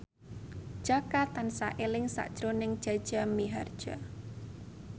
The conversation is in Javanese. Jaka tansah eling sakjroning Jaja Mihardja